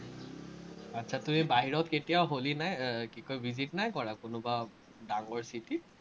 আটচাতো এই বাহিৰত কেতিয়াও হলি নাই, এৰ কি কয়, visit নাই কৰা, কোনোবা ডাংগৰ চিটিত?